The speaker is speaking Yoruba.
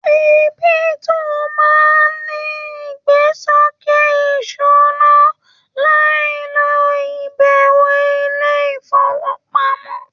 Kírípútò máa n ní igbesoke ìṣúná láì lo ibẹwo ilé ifowopamọ.